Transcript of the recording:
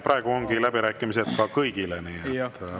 Praegu ongi läbirääkimised kõigile, nii et palun.